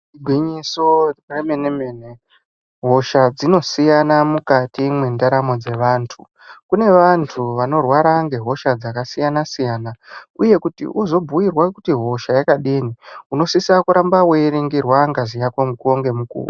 Igwinyiso remene mene hosha dzinosiyana mukati mwendaramo dzevantu, kune vantu vanorwara ngehosha dzakasiyana siyana uye kuti uzobhuirwa kuti hosha yakadini unosisira kuramba weiringirwa ngazi yako mukuwo nemukuwo.